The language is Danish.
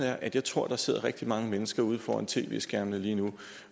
er at jeg tror at der sidder rigtig mange mennesker ude foran tv skærmene lige nu